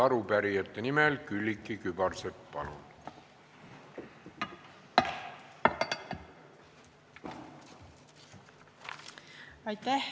Arupärijate nimel Külliki Kübarsepp, palun!